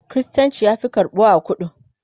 kristanci ya Fi karɓuwa a kudu